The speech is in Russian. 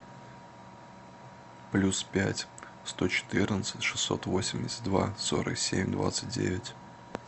плюс пять сто четырнадцать шестьсот восемьдесят два сорок семь двадцать девять